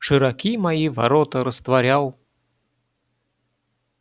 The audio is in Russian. широки мои ворота растворял